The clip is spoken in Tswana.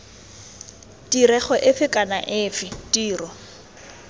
tirego efe kana efe tiro